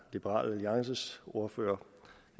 liberal alliances ordfører